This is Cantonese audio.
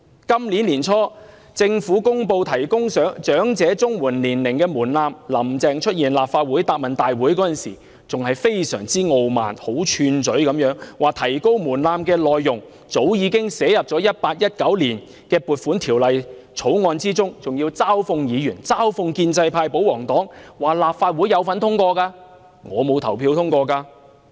今年年初，政府公布提高長者綜援申請年齡的門檻，"林鄭"出席立法會行政長官答問會時，非常傲慢並囂張地指出，提高門檻的內容早已寫入《2018年撥款條例草案》，還嘲諷議員、嘲諷建制派和保皇黨，指他們也有份在立法會投票支持通過——我沒有投票支持通過。